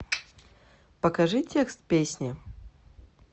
покажи текст песни